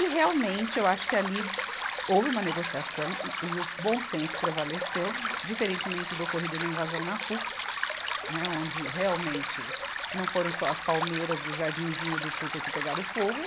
E, realmente, eu acho que ali houve uma negociação e, e o bom senso prevaleceu, diferentemente do ocorrido na invasão na Puc, né, onde, realmente, não foram só as palmeiras do Jardinzinho do Tuca que pegaram fogo,